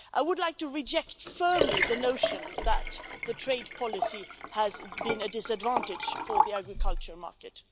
I would like to firmly reject the notion that the trade policy has been a disadvantage for the agriculture market.